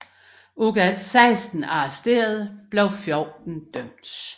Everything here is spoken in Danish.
Ud af 16 arresterede blev 14 dømt